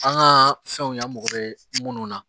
An ka fɛnw y'an mago bɛ minnu na